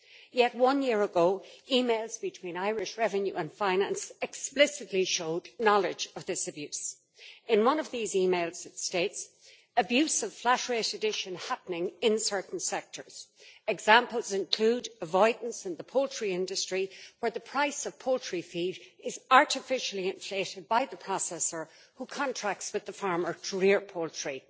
Yet, one year ago, emails between Irish Revenue and Finance explicitly showed knowledge of this abuse in one of these emails, it states abuse of flat rate addition happening in certain sectors'. Examples include avoidance in the poultry industry, where the price of poultry feed is artificially inflated by the processor, who contracts with the farmer to rear poultry,